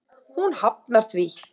Hún hafnar því.